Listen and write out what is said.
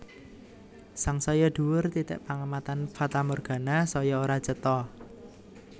Sangsaya dhuwur titik pangamatan fatamorgana saya ora cetha